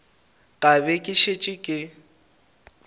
ka be ke šetše ke